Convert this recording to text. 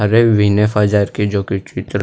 अरे वीने फ़ैज़ार की जो की चित्र--